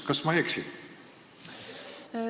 Kas ma eksin?